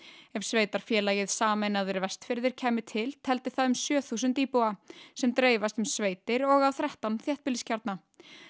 ef sveitarfélagið sameinaðir Vestfirðir kæmi til teldi það um sjö þúsund íbúa sem dreifast um sveitir og á þrettán þéttbýliskjarna